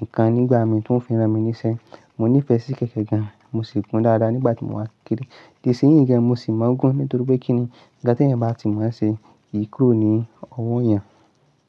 nǹkan nígbà mí tí wọ́n fi rán mi níṣẹ́. Mo nífẹ̀ẹ́ sí kẹ̀kẹ́ gan, mo sì gun dáadáa nígbà tí mo wá kékeré. Di sin yìí gan mo sì mo n gun nítorí pé kí ni nnkan tí ẹeyan bá ti moo ṣe, kii kúrò ní ọwọ́ ẹ̀yan.